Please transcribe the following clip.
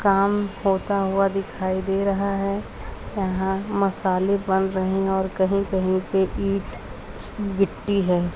काम होता हुआ दिखाई दे रहा है यहां मसाले बन रहे हैं और कही कही पे ईट गिट्टी है।